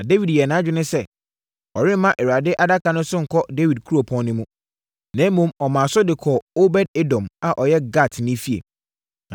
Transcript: Na Dawid yɛɛ nʼadwene sɛ, ɔremma Awurade Adaka no so nkɔ Dawid Kuropɔn no mu. Na mmom, ɔmaa so de kɔɔ Obed-Edom a ɔyɛ Gatni fie.